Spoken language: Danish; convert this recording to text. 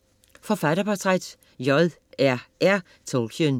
Forfatterportræt: J.R.R. Tolkien